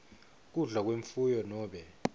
kudla kwemfuyo nobe